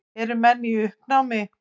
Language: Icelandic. Eru menn í uppnámi?